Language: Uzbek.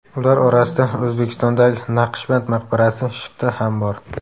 Ular orasida O‘zbekistondagi Naqshband maqbarasi shifti ham bor.